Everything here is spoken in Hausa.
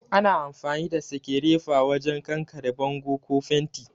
Ana amfani da sekerefa wajen kankare bango ko fenti